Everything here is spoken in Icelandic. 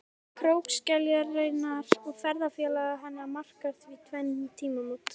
Koma krókskeljarinnar og ferðafélaga hennar markar því tvenn tímamót.